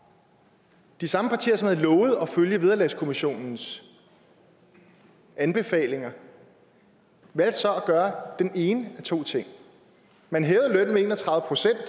de samme partier som havde lovet at følge vederlagskommissionens anbefalinger valgte så at gøre den ene af to ting man hævede lønnen med en og tredive procent